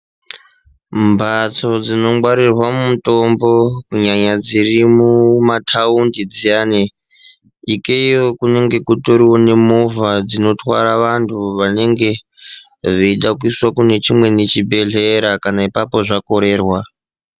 Mbatso dzinongwarirwa mutombo kunyanya dziri mumataundi dziyani, ikeyo kunenge kutoriwo nemovha dzinotwara vantu vanenga veida kuiswa kune chimweni chibhedhlera kana ipapo zvakorerwa.